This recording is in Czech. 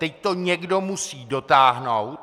Teď to někdo musí dotáhnout.